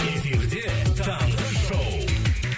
эфирде таңғы шоу